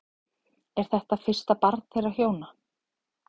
Er þetta fyrsta barn þeirra hjóna